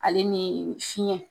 Ale ni fiɲɛ